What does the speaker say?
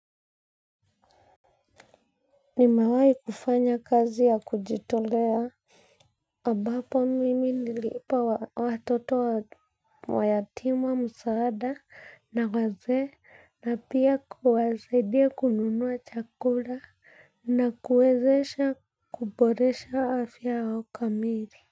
Nimewahi kufanya kazi ya kujitolea ambapo mimi niliwapa watoto wayatima msaada na wazee na pia kuwasaidia kununua chakula na kuwezesha kuboresha afya wa kamili.